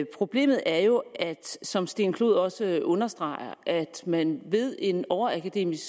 problemet er jo som steen clod poulsen også understreger at man ved en overakademisk